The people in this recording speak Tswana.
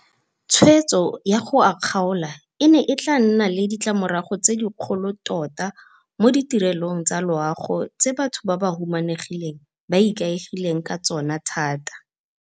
Tshwetso ya go a kgaola e ne e tla nna le ditlamorago tse dikgolo tota mo ditirelong tsa loago tse batho ba ba humanegileng ba ikaegileng ka tsona thata.